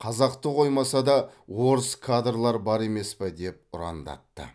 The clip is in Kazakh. қазақты қоймаса да орыс кадрлар бар емес пе деп ұрандатты